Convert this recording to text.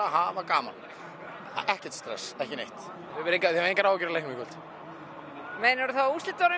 hafa gaman ekkert stress engar áhyggjur af leiknum jú af úrslitunum